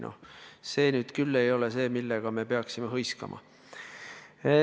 Noh, see nüüd küll ei ole asi, mille üle me peaksime hõiskama.